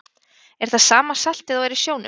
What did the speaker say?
Er það sama saltið og er í sjónum?